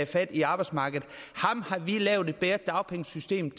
fat i arbejdsmarkedet ham har vi lavet et bedre dagpengesystem